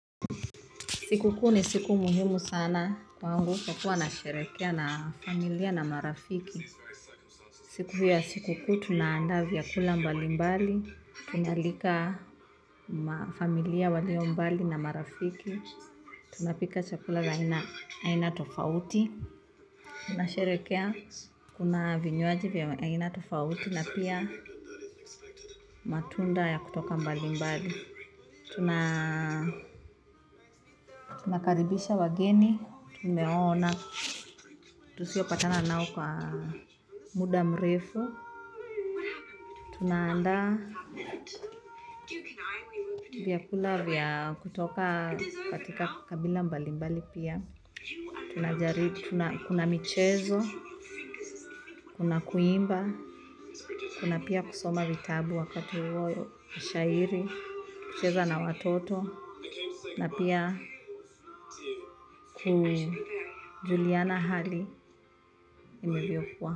Siku kuu ni siku muhimu sana kwangu kwa kuwa nasherekea na familia na marafiki. Siku hii ya siku kuu tunaandaa vyakula mbali mbali. Tunaalika familia walio mbali na marafiki. Tunapika chakula za aina tofauti. Tunasherekea kuna vinywaji vya aina tofauti. Na pia matunda ya kutoka mbali mbali. Tunakaribisha wageni. Tumeona. Tusiopatana nao kwa muda mrefu. Tunaanda vyakula vya kutoka katika kabila mbali mbali pia. Tunajaribu kuna michezo kuna kuimba kuna pia kusoma vitabu wakati huo shairi kucheza na watoto na pia kujuliana hali inavyokuwa.